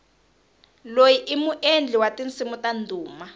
loyi i muendli wa tinsimu ta ndhuma